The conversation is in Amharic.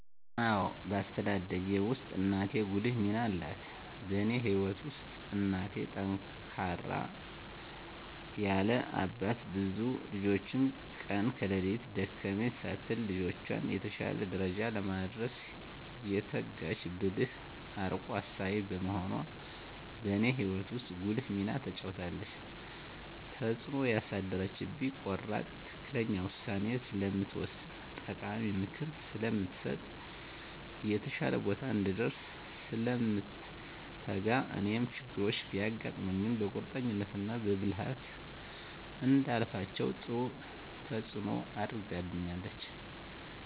አዎ በአስተዳደጌ ውስጥ እናቴ ጉልህ ሚና አላት በእኔ ህይወት ውስጥ እናቴ ጠንካራ ያለ አባት ብዙ ልጆችን ቀን ከሌት ደከመኝ ሳትል ልጆቿን የተሻለ ደረጃ ለማድረስ የተጋች ብልህ አርቆ አሳቢ በመሆኗ በእኔ ህይወት ውስጥ ጉልህ ሚና ተጫውታለች። ተፅእኖ ያሳደረችብኝ ቆራጥ ትክክለኛ ውሳኔ ስለምትወስን ጠቃሚ ምክር ስለምትሰጥ፣ የተሻለ ቦታ እንድንደርስ ስለምትተጋ እኔም ችግሮች ቢያጋጥሙኝ በቁርጠኝነት እና በብልሀት እንዳልፋቸው ጥሩ ተፅኖ አድርጋብኛለች።